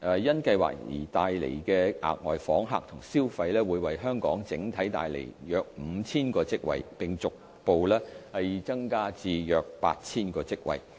因計劃所帶來的額外訪客及消費會為香港整體帶來約 5,000 個職位，並逐步增加至約 8,000 個職位。